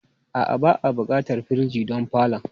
A'a, ba'a buƙatar firij don falon.